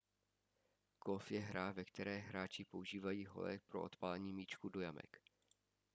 golf je hra ve která hráči používají hole pro odpálení míčků do jamek